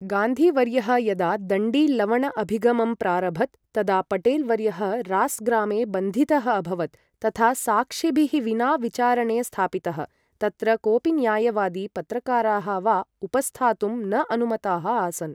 गान्धी वर्यः यदा दण्डी लवण अभिगमं प्रारभत, तदा पटेल् वर्यः रास् ग्रामे बन्धितः अभवत्, तथा साक्षिभिः विना विचारणे स्थापितः, तत्र कोपि न्यायवादी, पत्रकाराः वा उपस्थातुं न अनुमताः आसन्।